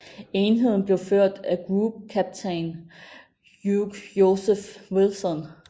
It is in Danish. Enheden blev ført af Group Captain Hugh Joseph Wilson